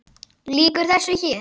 Lýkur þessu hér?